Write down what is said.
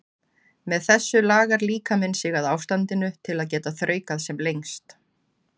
Með þessu lagar líkaminn sig að ástandinu til að geta þraukað sem lengst.